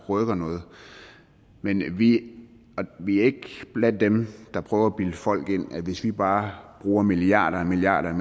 rykker men vi er ikke blandt dem der prøver at bilde folk ind at hvis vi bare bruger milliarder og milliarder